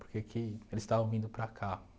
Por que que eles estavam vindo para cá?